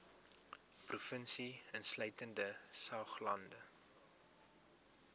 provinsie insluitende saoglande